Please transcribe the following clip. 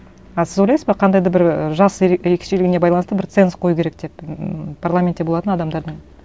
а сіз ойлайсыз ба қандай да бір ііі жас ерекшелігіне байланысты бір ценз қою керек деп ммм парламентте болатын адамдардың